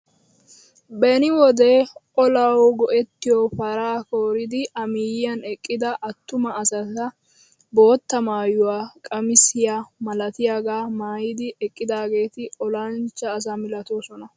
Beni wode olawu go"ettiyoo paraa kooridi a miyiyaan eqqida attuma asati bootta maayuwaa qamisiyaa malatiyaaga maayidi eqqidaageti olanchcha asa milatoosona!